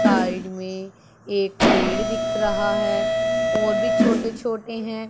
Side में एक पेड़ दिख रहा है और भी छोटे छोटे हैं।